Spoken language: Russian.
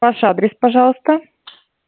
ваш адрес пожалуйста